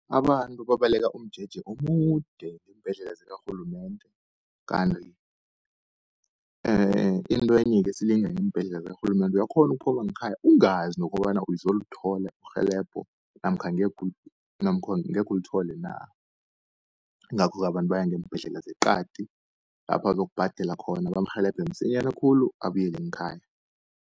Abantu babaleka umjeje omude eembhedlela zikarhulumende. Kanti intwenye-ke esilinga ngeembhedlela zikarhulumende, uyakghona ukuphuma ngekhaya ungazi nokobana uzolithola irhelebho namkha namkha angekhe ulithole na. Ingakho-ke abantu baya ngeembhedlela zeqadi, lapho azokubhadela khona bamrhelebhe msinyana khulu abuyele ngekhaya.